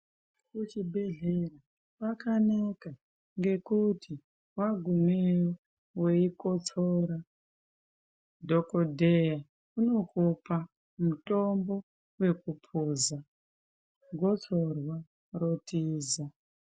Kuchibhedhlera kwakanaka ngekuti wagumeyo weikotsora dhokodheya unokupa mitombo wekupoza gotsorwa rotiza.